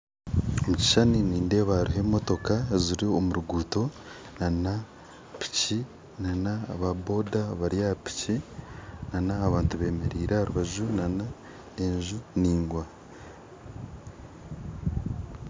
Omukishishani nindeeba hariho emotoka ziri omuruguuto, na piki na aba boda bari aha piki na abantu bemeriire aharubaju na enju ndaingwa.